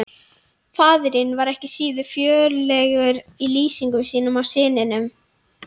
Faðirinn var ekki síður fjörlegur í lýsingum sínum á syninum.